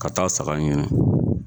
Ka taa saga ɲini.